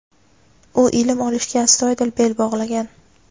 U ilm olishga astoydil bel bog‘lagan.